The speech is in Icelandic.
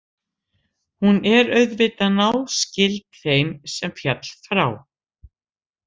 Hún er auðvitað náskyld þeirri sem féll frá.